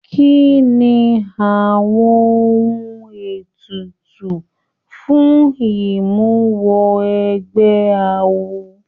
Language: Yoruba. Kínní àwọn ohùn ètùtù fún imuwọ̀ awo?